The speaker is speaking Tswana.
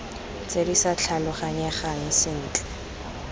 tse di sa tlhaloganyegang sentle